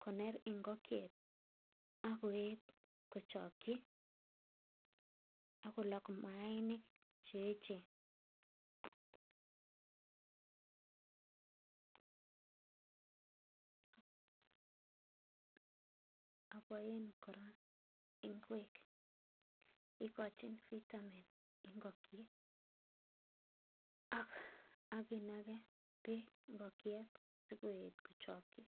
koner ngokiet ak koet kochoki ak kolok maainik che yechen. ABoen kora, igochin vitamin ngokiet, ak inage beek ngokiet sikoet kochoki,